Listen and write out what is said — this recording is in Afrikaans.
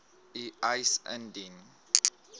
u eis indien